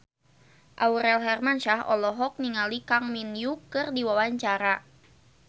Aurel Hermansyah olohok ningali Kang Min Hyuk keur diwawancara